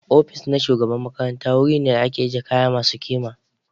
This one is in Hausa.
Ofis na shugaban makaranta wuri ne da ake ajiye kayan masu kima.